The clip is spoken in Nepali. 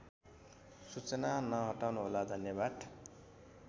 सूचना नहटाउनुहोला धन्यवाद